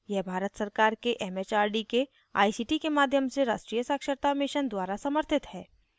यह भारत सरकार के एमएचआरडी के आईसीटी के माध्यम से राष्ट्रीय साक्षरता mission द्वारा समर्थित है